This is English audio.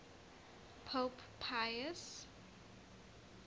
pope pius